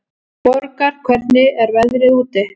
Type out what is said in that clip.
Borgar, hvernig er veðrið úti?